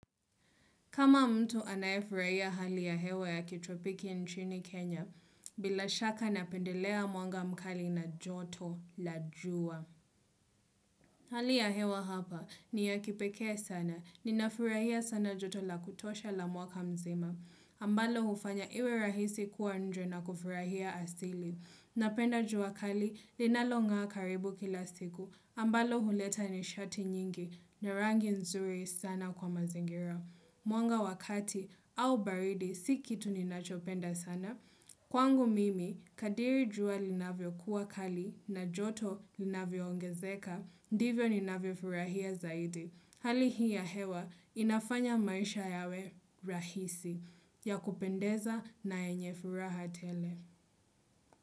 Kama mtu anayefurahia hali ya hewa ya kitropiki nchini Kenya, bila shaka napendelea mwanga mkali na joto la jua. Hali ya hewa hapa ni ya kipekee sana, ninafurahia sana joto la kutosha la mwaka mzima. Ambalo hufanya iwe rahisi kuwa nje na kufurahia asili. Napenda jua kali, linalonga karibu kila siku. Ambalo huleta nishati nyingi, na rangi nzuri sana kwa mazingira. Mwanga wa kati au baridi, si kitu ni nachopenda sana. Kwangu mimi, kadiri jua linavyo kuwa kali na joto linavyoongezeka. Ndivyo ninavyo furahia zaidi. Hali hii ya hewa, inafanya maisha yawe rahisi. Ya kupendeza na yenye furaha tele.